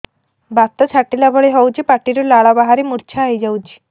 ବାତ ଛାଟିଲା ଭଳି ହଉଚି ପାଟିରୁ ଲାଳ ବାହାରି ମୁର୍ଚ୍ଛା ହେଇଯାଉଛି